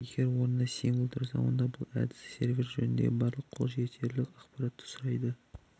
егер орнына символ тұрса онда бұл әдіс сервер жөніндегі барлық қол жетерлік ақпаратты сұрайды